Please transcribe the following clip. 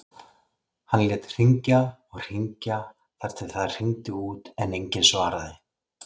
Hann lét hringja og hringja þar til það hringdi út en enginn svaraði.